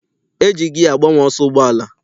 E ji giya agbanwe ọsọ ụgbọala.